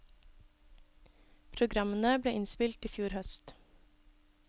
Programmene ble innspilt i fjor høst.